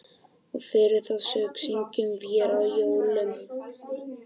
Og fyrir þá sök syngjum vér á jólum